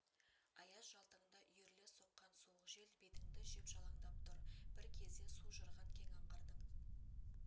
аяз жалтаңда үйіріле соққан суық жел бетіңді жеп жалаңдап тұр бір кезде су жырған кең аңғардың